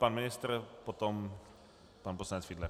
Pan ministr, potom pan poslanec Fiedler.